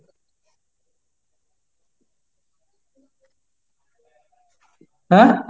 হ্যাঁ?